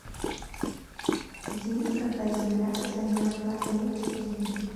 день когда земля замерзла эйч ди